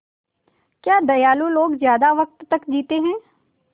क्या दयालु लोग ज़्यादा वक़्त तक जीते हैं